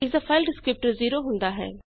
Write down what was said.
ਇਸਦਾ file descriptor 0 ਹੁੰਦਾ ਹੈ